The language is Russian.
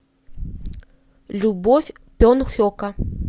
любовь пен хека